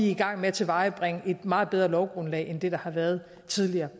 i gang med tilvejebringe et meget bedre lovgrundlag end det der har været tidligere det